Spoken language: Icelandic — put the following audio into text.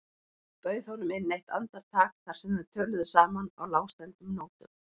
Hún bauð honum inn eitt andartak þar sem þau töluðu saman á lágstemmdum nótum.